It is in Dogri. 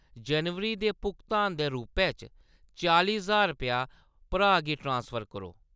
जनवरी दे भुगतान दे रूपै च चालीं ज्हार रपेआ भ्राऽ गी ट्रांसफर करो ।